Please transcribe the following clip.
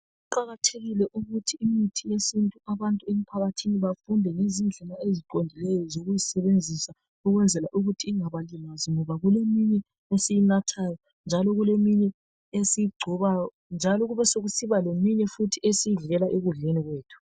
Kuqakathekile ukuthi imithi yesintu, abantu emphakathini, bafunde ngezindlela eziqondileyo, zokuyisebenzisa, ukwenzela ukuthi ingabalimazi. Ngoba kuleminye esiyinathayo, njalo. Kuleminye esiyigxobayo, njalobesekusiba leminye, esiyidlela ekudleni kwethu.